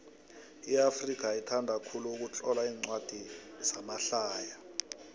iafrika ithanda khulu ukutlola incwadi zamahlaya